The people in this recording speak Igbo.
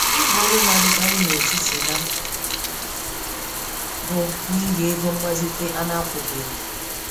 Ịgba-olu naadikari n'etiti ha, bụ n'ihi égo mgbazite anakwụbeghi.